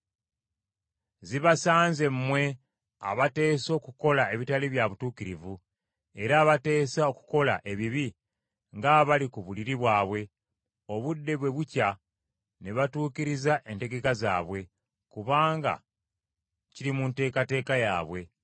Zibasanze mmwe abateesa okukola ebitali bya butuukirivu era abateesa okukola ebibi nga bali ku buliri bwabwe; Obudde bwe bukya ne batuukiriza entegeka zaabwe, kubanga kiri mu nteekateeka yaabwe.